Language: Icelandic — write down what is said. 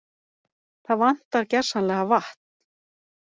Það vantar gersamlega vatn